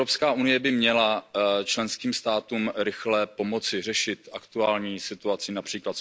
EU by měla členským státům rychle pomoci řešit aktuální situaci, např.